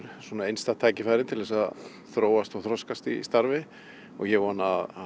einstakt tækifæri til að þróast og þroskast í starfi og ég vona að